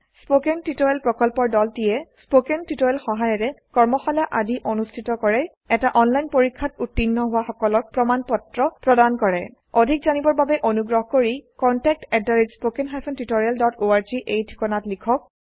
spoken tutorial প্ৰকল্পৰ দলটিয়ে spoken tutorial সহায়িকাৰে কৰ্মশালা আদি অনুষ্ঠিত কৰে এটা অনলাইন পৰীক্ষাত উত্তীৰ্ণ হোৱা সকলক প্ৰমাণ পত্ৰ প্ৰদান কৰে অধিক জানিবৰ বাবে অনুগ্ৰহ কৰি contactspoken tutorialorg এই ঠিকনাত লিখক